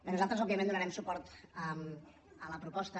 nosaltres òbviament donarem suport a la proposta